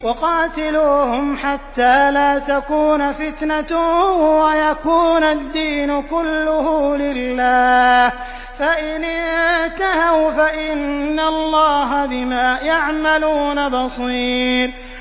وَقَاتِلُوهُمْ حَتَّىٰ لَا تَكُونَ فِتْنَةٌ وَيَكُونَ الدِّينُ كُلُّهُ لِلَّهِ ۚ فَإِنِ انتَهَوْا فَإِنَّ اللَّهَ بِمَا يَعْمَلُونَ بَصِيرٌ